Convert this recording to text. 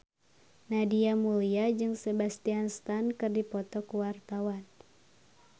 Nadia Mulya jeung Sebastian Stan keur dipoto ku wartawan